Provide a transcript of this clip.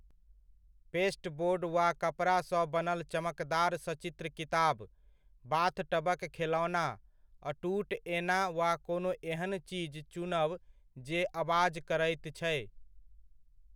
Pasteboard वा कपड़ा सँ बनल चमकदार सचित्र किताब, बाथटबक खेलौना, अटूट एना वा कोनो एहन चीज चुनब जे अबाज करैत छै।